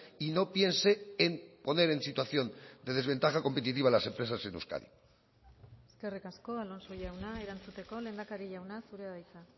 y no piense en poner en situación de desventaja competitiva a las empresas en euskadi eskerrik asko alonso jauna erantzuteko lehendakari jauna zurea da hitza